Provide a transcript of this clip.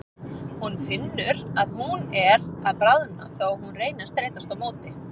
Hún finnur að hún er að bráðna þó að hún reyni að streitast á móti.